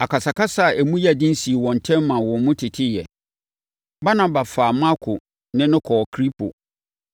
Akasakasa a emu yɛ den sii wɔn ntam maa wɔn mu teteeɛ. Barnaba faa Marko ne no kɔɔ Kipro